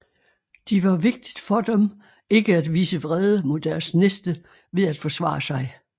De var vigtigt for dem ikke at vise vrede mod deres næste ved at forsvare sig